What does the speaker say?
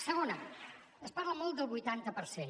segona es parla molt del vuitanta per cent